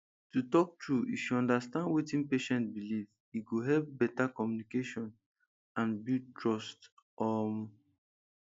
to talk true if you understand wetin patient believe e go help better communication and build trust um